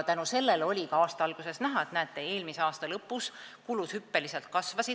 Aasta alguses oli näha, et eelmise aasta lõpus kulud hüppeliselt kasvasid.